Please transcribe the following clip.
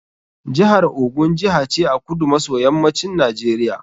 Jihar Ogun Jiha ce a kudu maso yammacin Najeriya.